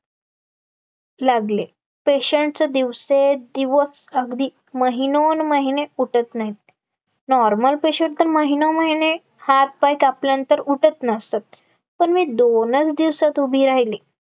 लागले patients दिवसेंदिवस अगदी महिनोन्महिने उठत नाहीत, normal patient तर महिनोमहिने हातपाय कापल्यानंतर उठत नसतात, पण मी दोनच दिवसात उभी राहिली